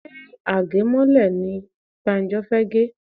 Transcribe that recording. Ṣé age mọ́lẹ̀ ní Banjo fẹ gè?